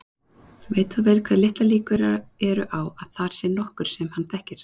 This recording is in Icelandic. Veit þó vel hve litlar líkur eru á að þar sé nokkur sem hann þekkir.